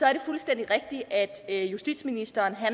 er det fuldstændig rigtigt at justitsministeren har